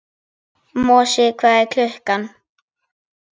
Mosi, hvað er klukkan?